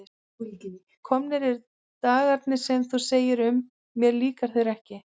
Komnir eru dagarnir sem þú segir um: mér líka þeir ekki.